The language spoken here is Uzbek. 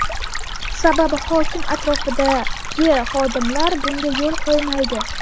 Sababi hokim atrofidagi xodimlar bunga yo‘l qo‘ymaydi.